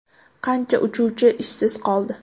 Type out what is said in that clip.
Qancha uchuvchi ishsiz qoldi?